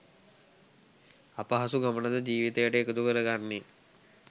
අපහසු ගමන ද ජීවිතයට එකතු කරන්නේ